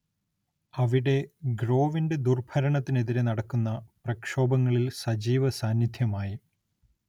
അവിടെ ഗ്രോവിന്റെ ദുർഭരണത്തിനെതിരേ നടക്കുന്ന പ്രക്ഷോഭങ്ങളിൽ സജീവ സാന്നിദ്ധ്യമായി.